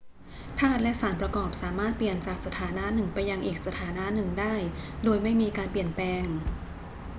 ธาตุและสารประกอบสามารถเปลี่ยนจากสถานะหนึ่งไปยังอีกสถานะหนึ่งได้โดยไม่มีการเปลี่ยนแปลง